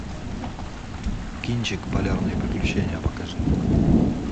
кинчик полярные приключения покажи